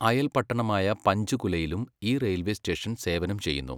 അയൽപട്ടണമായ പഞ്ച്കുലയിലും ഈ railway station സേവനം ചെയ്യുന്നു.